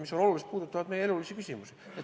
Need on olulised ja puudutavad meie elulisi küsimusi.